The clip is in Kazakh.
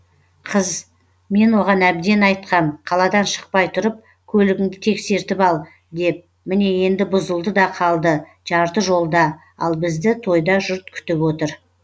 қыз мен оған әбден айтқам қаладан шықпай тұрып көлігіңді тексертіп ал деп міне енді бұзылды да қалды жарты жолда ал бізді тойда жұрт күтіп отыр